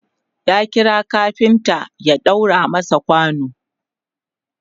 ya kira kafinta ya ɗaura masa kwano